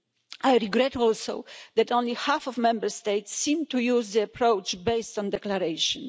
I regret, also, that only half the Member States seem to use the approach based on the declaration.